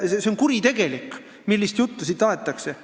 See on lausa kuritegelik, millist juttu siin aetakse.